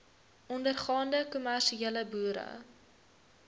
ondergaande kommersiële boere